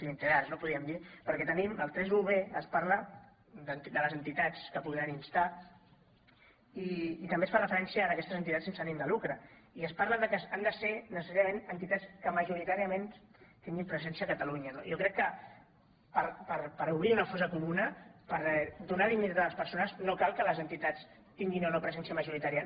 clientelars podríem dir perquè tenim el 31b on es parla de les entitats que podran instar i també es fa referència a aquestes entitats sense ànim de lucre i es parla que han de ser necessàriament entitats que majoritàriament tinguin presència a catalunya no jo crec que per obrir una fosa comuna per donar dignitat a les persones no cal que les entitats tinguin o no presència majoritària